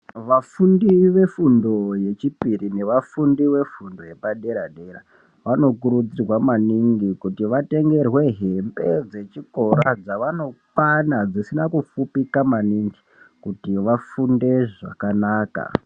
Vafundi vefundo yechipiri nevafundi vefundo yepadera-dera, vanokurudzirwa maningi kuti vatengerwe hembe dzechikora dzavanokwana dzisina kufupika maningi kuti vafunde zvakanaka.